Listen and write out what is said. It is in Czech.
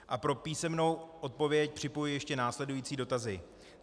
A pro písemnou odpověď připojuji ještě následující dotazy.